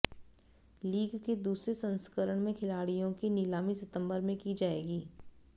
league के दूसरे संस्करण में खिलाडिय़ों की नीलामी सितंबर में की जाएगी